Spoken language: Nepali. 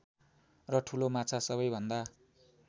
र ठूलो माछा सबैभन्दा